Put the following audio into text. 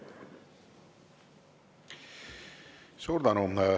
Suur tänu!